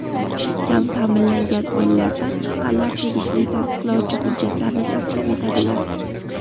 kam ta’minlangan oilalardan chiqqanlar tegishli tasdiqlovchi hujjatlarni taqdim etadilar.